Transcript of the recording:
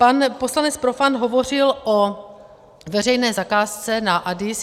Pan poslanec Profant hovořil o veřejné zakázce na ADIS.